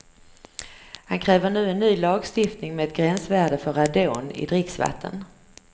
Han kräver nu en ny lagstiftning med ett gränsvärde för radon i dricksvatten.